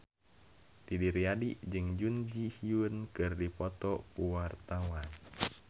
Didi Riyadi jeung Jun Ji Hyun keur dipoto ku wartawan